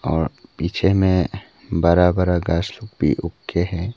और पीछे में बड़ा बड़ा घास लोग भी उग के है।